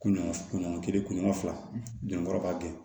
Kunɲɔgɔn kunɲɔgɔn kelen kunɲɔgɔn fila jɔnkɔrɔ b'a kɛ